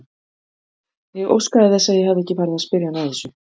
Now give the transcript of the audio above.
Ég óskaði þess að ég hefði ekki farið að spyrja hana að þessu.